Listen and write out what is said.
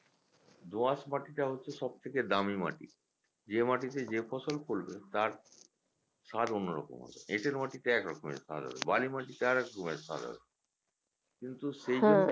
দো আঁশ মাটিটা হচ্ছে সব থেকে দামি মাটি যে মাটিতে যে ফসল ফলবে তার স্বাদ অন্য রকম হবে এঁটেল মাটিতে একরকমের স্বাদ হবে বালি মাটিতে আরেক রকমের স্বাদ হবে সেই জমি